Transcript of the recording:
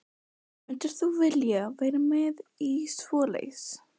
Egill Helgason: Mundir þú vilja vera með í svoleiðis?